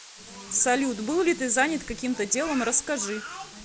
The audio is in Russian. салют был ли ты занят каким то делом расскажи